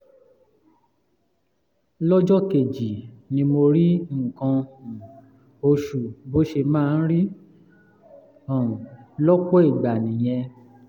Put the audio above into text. lọ́jọ́ kejì ni mo rí nǹkan um oṣù bó ṣe máa ń rí um lọ́pọ̀ ìgbà nìyẹn